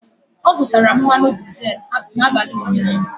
Ọ zụtara mmanụ dizel n'abalị ụnyaahụ.